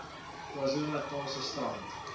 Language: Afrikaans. kwazulu natalse strand